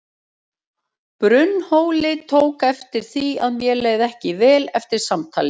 Brunnhóli tók eftir því að mér leið ekki vel eftir samtalið.